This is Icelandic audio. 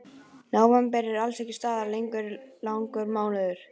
Nóvember er alls staðar langur mánuður.